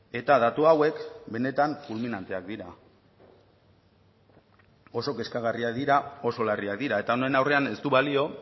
eta datu hauek benetan fulminanteak dira oso kezkagarriak dira oso larriak dira eta honen aurrean ez du balio